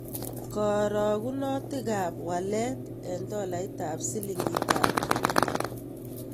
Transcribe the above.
Karogunotikap walet eng' tolait ak silingitap Kenya